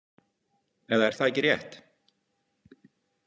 Eða er það ekki rétt?